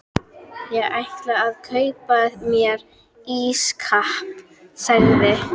Ég ætla að kaupa mér ísskáp sagði